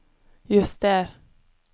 juster